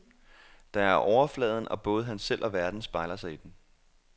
Der er overfladen og både han selv og verden spejler sig i den.